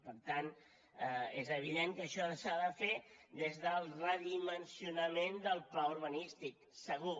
per tant és evident que això s’ha de fer des del redimensionament del pla urbanístic segur